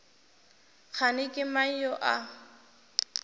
kgane ke mang yo a